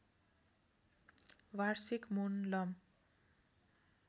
वार्षिक मोनलम